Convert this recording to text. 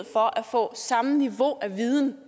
for at få samme niveau af viden